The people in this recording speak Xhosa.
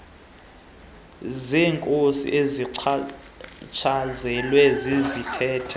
zeenkosi ezichatshazelwa zizithethe